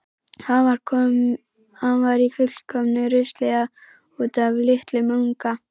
Hann var í fullkomnu rusli út af litlum unga.